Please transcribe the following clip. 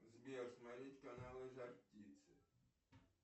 сбер смотреть каналы жар птицы